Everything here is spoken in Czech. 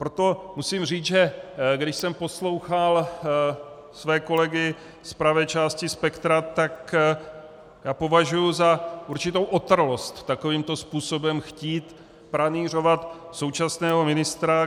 Proto musím říct, že když jsem poslouchal své kolegy z pravé části spektra, tak já považuju za určitou otrlost takovýmto způsobem chtít pranýřovat současného ministra.